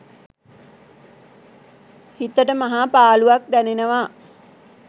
හිතට මහා පාළුවක් දැනෙනවා.